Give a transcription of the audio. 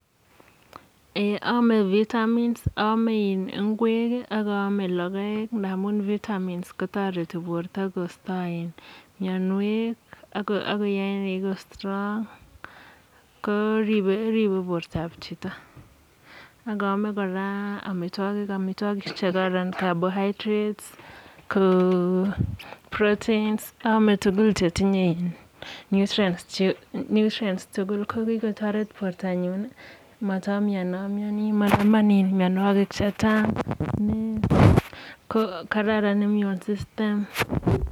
Aaame een vitamins, aame ingwek ak aame logoek ndamun vitamins kotoreti borto koisto mianwek ako yae koek strong ko ripei bortoab chito, ak aame kora amitwokik, amitwokik che kararan carbohydrates, proteins, aaame tugun che tinye nutrients tugul ko kikotoret bortonyun matam mianmiani, manaman mianwokik chechang amun kararan kot sysytem.